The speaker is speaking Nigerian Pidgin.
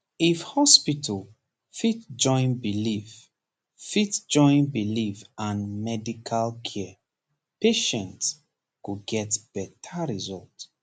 if hospital fit join belief fit join belief and medical care patient go get better result